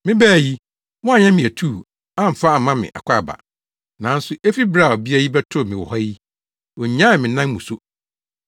Mebae yi, woanyɛ me atuu amfa amma me akwaaba; nanso efi bere a ɔbea yi bɛtoo me wɔ ha yi, onnyaee me nan mu so.